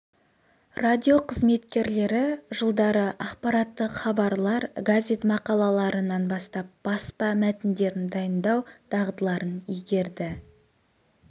радио қызметкерлері жылдары ақпараттық хабарлар газет мақалаларынан бастап баспа мәтіндерін дайындау дағдыларын игерді